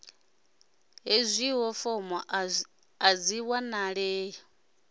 hezwio fomo a dzi wanalei